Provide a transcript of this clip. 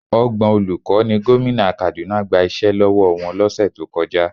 Ọgbọ̀n olùkọ́ ni gómìnà Kaduna gba iṣẹ́ lọ́wọ́ wọn lọ́sẹ̀ tó kọjá.